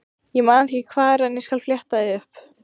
Ég man ekki hvar en ég skal fletta því upp.